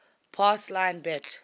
pass line bet